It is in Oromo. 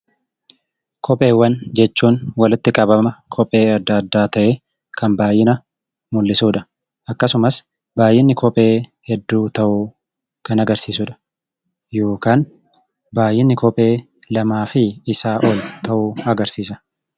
Kopheewwan jechuun walitti qabama kopheewwanii ta'ee kan baay'ina mul'isudha. Akkasumas baay'inni kophee hedduu ta'uu kan agarsiisudha.